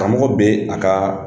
Karamɔgɔ bɛ a ka